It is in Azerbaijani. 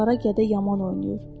Qara gədə yaman oynayır.